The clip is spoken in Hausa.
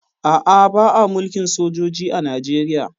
A'a, ba a mulkin sojoji a Najeriya